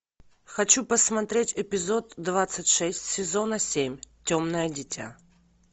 хочу посмотреть эпизод двадцать шесть сезона семь темное дитя